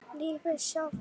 Lífið sjálft.